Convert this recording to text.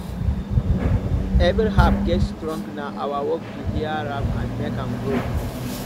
every herb get song na our work to hear am and make am grow